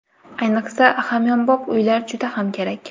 Ayniqsa, hamyonbop uylar juda ham kerak.